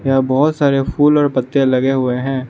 बहुत सारे फूल और पत्ते लगे हुए हैं।